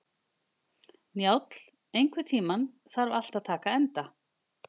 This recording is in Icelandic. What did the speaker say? Njáll, einhvern tímann þarf allt að taka enda.